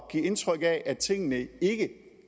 give indtryk af at tingene ikke